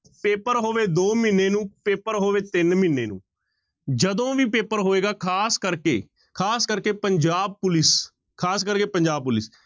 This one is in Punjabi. ਪੇਪਰ ਹੋਵੇ ਦੋ ਮਹੀਨੇ ਨੂੰ, ਪੇਪਰ ਹੋਵੇ ਤਿੰਨ ਮਹੀਨੇ ਨੂੰ, ਜਦੋਂ ਵੀ ਪੇਪਰ ਹੋਏਗਾ ਖ਼ਾਸ ਕਰਕੇ, ਖ਼ਾਸ ਕਰਕੇ ਪੰਜਾਬ ਪੁਲਿੱਸ, ਖ਼ਾਸ ਕਰਕੇ ਪੰਜਾਬ ਪੁਲਿੱਸ।